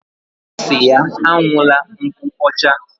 Osiri ya an̄una nkwocha.